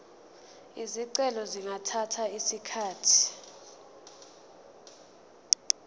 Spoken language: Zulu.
izicelo zingathatha isikhathi